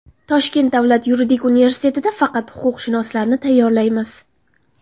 Toshkent davlat yuridik universitetida faqat huquqshunoslarni tayyorlaymiz.